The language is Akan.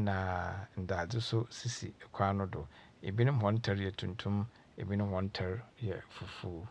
na ndadze so sisi kwan no do. Binom hɔn ntar yɛ tuntum, binom nso hɔn ntar yɛ fufuw.